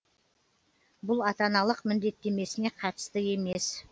бұл ата аналық міндеттемесіне қатысты емес